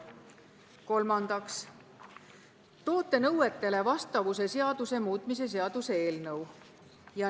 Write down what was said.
Kolmandaks, toote nõutele vastavuse seaduse muutmise seaduse eelnõu.